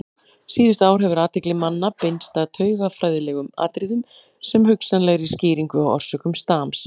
Síðustu ár hefur athygli manna beinst að taugafræðilegum atriðum sem hugsanlegri skýringu á orsökum stams.